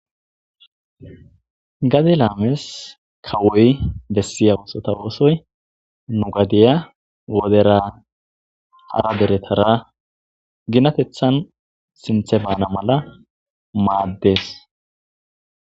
gade laames kawoy bessiya oosota oosoy nu gadiya wodera hara deretara ginatethan sinthe baana mala maaddes